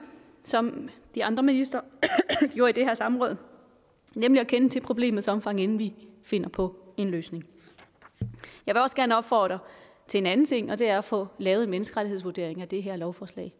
som de andre ministre gjorde i det her samråd nemlig at kende til problemets omfang inden vi finder på en løsning jeg vil også gerne opfordre til anden ting og det er at få lavet en menneskerettighedsvurdering af det her lovforslag